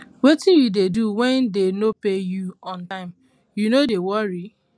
wetin you dey do when dey no pay you on time you no dey worry